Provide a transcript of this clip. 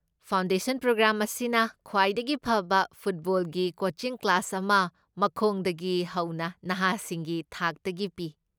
Foundation programme ꯑꯁꯤꯅ ꯈ꯭ꯋꯥꯏꯗꯒꯤ ꯐꯕ ꯐꯨꯠꯕꯣꯜꯒꯤ ꯀꯣꯆꯤꯡ ꯀ꯭ꯂꯥꯁ ꯑꯃ ꯃꯈꯣꯡꯗꯒꯤ ꯍꯧꯅ ꯅꯍꯥꯁꯤꯡꯒꯤ ꯊꯥꯛꯇꯒꯤ ꯄꯤ꯫